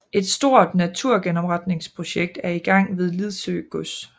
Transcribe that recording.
Et stort naturgenopretningsprojekt er i gang ved Lidsø Gods